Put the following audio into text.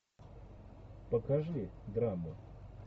покажи драму